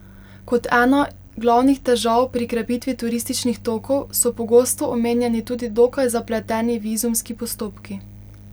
Kot ena glavnih težav pri krepitvi turističnih tokov so pogosto omenjeni tudi dokaj zapleteni vizumski postopki.